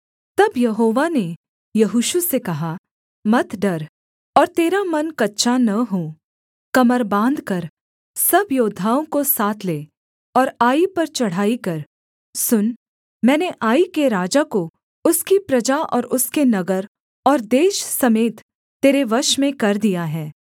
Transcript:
तब यहोवा ने यहोशू से कहा मत डर और तेरा मन कच्चा न हो कमर बाँधकर सब योद्धाओं को साथ ले और आई पर चढ़ाई कर सुन मैंने आई के राजा को उसकी प्रजा और उसके नगर और देश समेत तेरे वश में कर दिया है